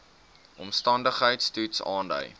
omstandigheids toets aandui